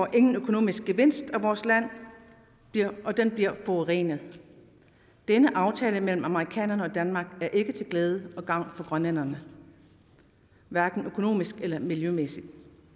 ingen økonomisk gevinst af vores land og det bliver forurenet denne aftale mellem amerikanerne og danmark er ikke til glæde og gavn for grønlænderne hverken økonomisk eller miljømæssigt